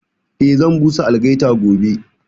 Eh, zan busa algaita gobe